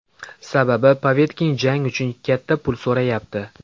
Sababi Povetkin jang uchun katta pul so‘rayapti.